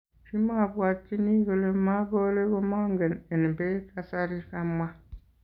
"Kimabwatchini kole maboore komang en beek kasarii", kamwaa.